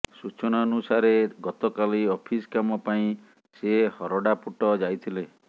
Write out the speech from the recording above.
ସୂଚନାନୁସାରେ ଗତକାଲି ଅଫିସ୍ କାମ ପାଇଁ ସେ ହରଡ଼ାପୁଟ ଯାଇଥିଲେ